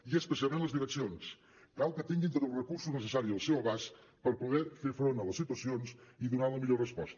i especialment les direccions cal que tinguin tots els recursos necessaris al seu abast per poder fer front a les situacions i donar la millor resposta